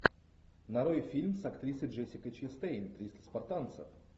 нарой фильм с актрисой джессикой честейн триста спартанцев